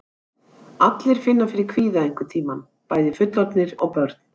Allir finna fyrir kvíða einhvern tíma, bæði fullorðnir og börn.